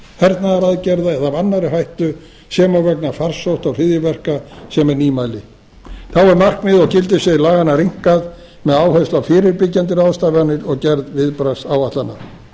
hernaðaraðgerða eða af annarri hættu sem og vegna farsótta og hryðjuverka sem er nýmæli þá er markmið og gildissvið laganna rýmkað með áherslu á fyrirbyggjandi ráðstafanir og gerð viðbragðsáætlana